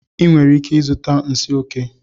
Ị nwere ike ịzụta nsi oke